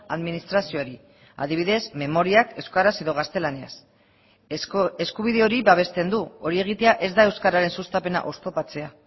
administrazioari adibidez memoriak euskaraz edo gaztelaniaz eskubide hori babesten du hori egitea ez da euskararen sustapena oztopatzea